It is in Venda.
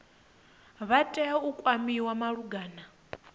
vha tea u kwamiwa malugana